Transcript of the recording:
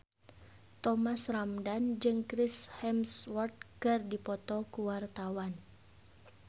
Thomas Ramdhan jeung Chris Hemsworth keur dipoto ku wartawan